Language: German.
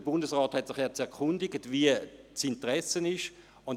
Der Bundesrat hat sich erkundigt, wie gross das Interesse sei.